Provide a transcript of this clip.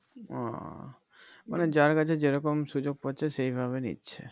ও মানে যার কাছে যেরকম সুযোগ পাচ্ছে সেইভাবে নিচ্ছে